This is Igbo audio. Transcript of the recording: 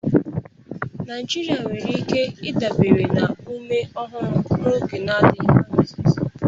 Naijiria nwere ike ịdabere na ume ọhụrụ n'oge adịghị anya.